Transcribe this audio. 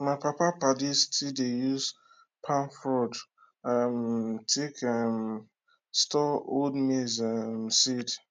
my papa padi still dey use palm frond um take um store old maize um seed